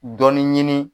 Dɔnni ɲini